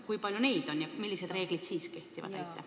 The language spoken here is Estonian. Kui palju neid inimesi on ja millised reeglid nendele kehtivad?